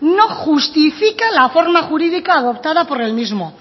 no justifica la forma jurídica adoptada por el mismo